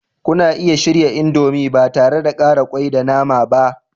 Kuna iya shirya indomie ba tare da ƙara kwai da nama ba.